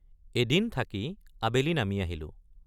এদিন থাকি আবেলি নামি আহিলোঁ।